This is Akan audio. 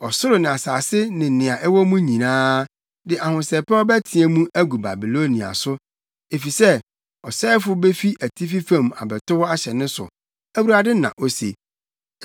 Ɔsoro ne asase ne nea ɛwɔ mu nyinaa de ahosɛpɛw bɛteɛ mu agu Babilonia so, efisɛ ɔsɛefo befi atifi fam abɛtow ahyɛ ne so,” Awurade na ose.